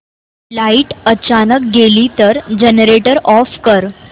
light अचानक गेली तर जनरेटर ऑफ कर